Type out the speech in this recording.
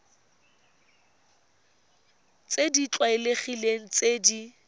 tse di tlwaelegileng tse di